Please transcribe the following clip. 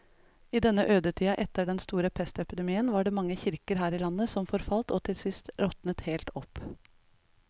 I denne ødetida etter den store pestepidemien var det mange kirker her i landet som forfalt og til sist råtnet helt opp.